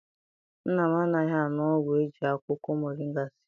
Nna m anaghị aṅụ ọgwụ eji akwụkwọ moringa sie.